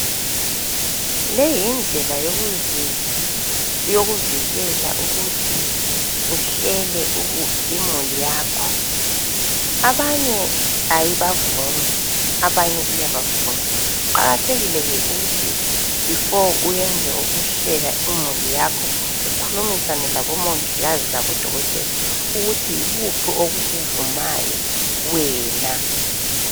Leyi yindlela yokuvikela ukuthi uhlele imuli yakho. Abanye ayibavumi abanye iyabavuma. Kuqakathekile nje ukuthi before uyenze okunye ukuhlela imuli yakho ukhulumisane labomongikazi labodokotela ukuthi yikuphi okukuvumayo wena.